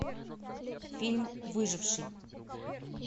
фильм выживший